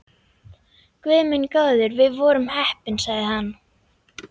Guð minn góður, við vorum heppnir sagði hann.